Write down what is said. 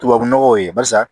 Tubabu nɔgɔw ye barisa